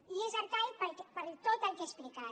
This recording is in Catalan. i és arcaic per tot el que he explicat